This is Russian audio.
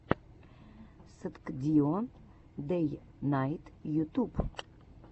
сткдио дэйнайт ютуб